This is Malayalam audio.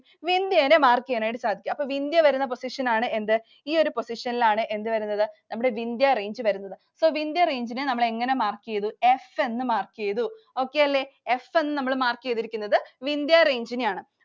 Vindya നെ mark ചെയ്യാനായിട്ടു സാധിക്കും. അപ്പൊ Vindya വരുന്ന position ആണ് എന്ത്? ഈ ഒരു position ൽ ആണ് എന്ത് വരുന്നത്? നമ്മുടെ Vindhya Range വരുന്നത്. So Vindhya Range നെ നമ്മൾ എങ്ങനെ mark ചെയ്‌തു? F എന്ന് mark ചെയ്‌തു. Okay അല്ലെ. F എന്ന് നമ്മൾ mark ചെയ്തിരിക്കുന്നത് Vindhya Range നെയാണ്.